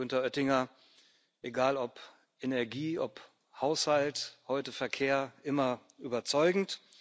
Lieber Günther Oettinger, egal ob Energie, ob Haushalt, heute Verkehr immer überzeugend.